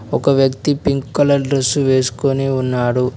ఒక వ్యక్తి pink colour dress వేసుకుని ఉన్నాడు.